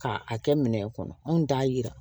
K'a kɛ minɛn kɔnɔ anw t'a yira